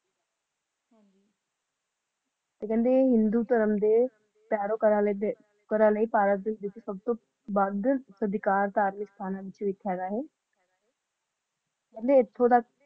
ਤੇ ਕਹਿੰਦੇ ਹਿੰਦੂ ਧਰਮ ਵਿਚ ਸਬ ਤੋਂ ਕਹਿੰਦੇ ਇਥੋਂ ਦਾ